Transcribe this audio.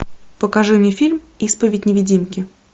покажи мне фильм исповедь невидимки